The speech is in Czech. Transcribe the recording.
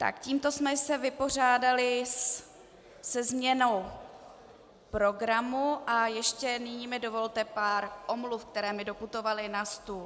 Tak, tímto jsme se vypořádali se změnou programu a ještě nyní mi dovolte pár omluv, které mi doputovaly na stůl.